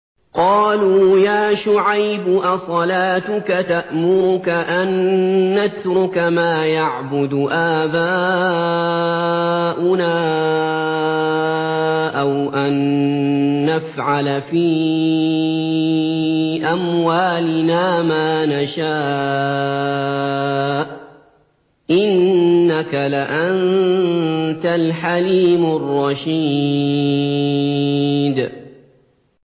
قَالُوا يَا شُعَيْبُ أَصَلَاتُكَ تَأْمُرُكَ أَن نَّتْرُكَ مَا يَعْبُدُ آبَاؤُنَا أَوْ أَن نَّفْعَلَ فِي أَمْوَالِنَا مَا نَشَاءُ ۖ إِنَّكَ لَأَنتَ الْحَلِيمُ الرَّشِيدُ